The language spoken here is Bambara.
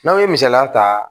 N'anw ye misaliya ta